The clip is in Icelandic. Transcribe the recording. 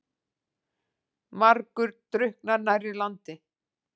Margur drukknar nærri landi.